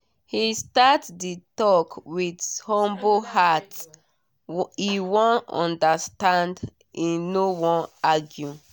he start the talk with humble hearte wan understand e no wan argue